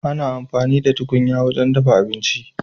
Ana amfani da tukunya wajen dafa abinci.